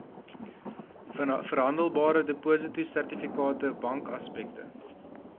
verhandelbare depositosertifikate bankaksepte